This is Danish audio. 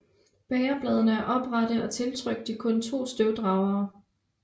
Bægerbladene er oprette og tiltrykt de kun to støvdragere